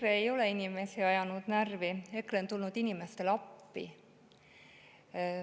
Ei, EKRE ei ole inimesi närvi ajanud, EKRE on tulnud inimestele appi.